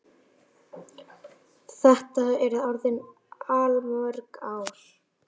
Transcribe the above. Þetta eru orðin allmörg ár.